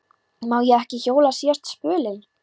Má ég ekki hjóla síðasta spölinn?